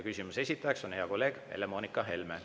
Küsimuse esitaja on hea kolleeg Helle-Moonika Helme.